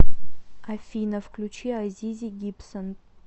афина включи азизи гибсон